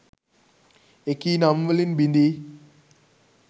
එකී නම් වලින් බිඳී